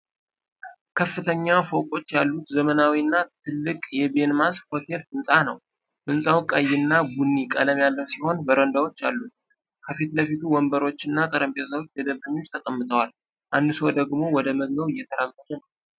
ከፍተኛ ፎቆች ያሉት ዘመናዊና ትልቅ የቤንማስ ሆቴል ህንጻ ነው። ህንጻው ቀይ እና ቡኒ ቀለም ያለው ሲሆን በረንዳዎች አሉት። ከፊት ለፊቱ ወንበሮችና ጠረጴዛዎች ለደንበኞች ተቀምጠዋል፣ አንዱ ሰው ደግሞ ወደ መግቢያው እየተራመደ ነው።